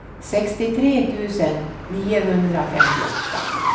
sextiotre tusen niohundrafemtioåtta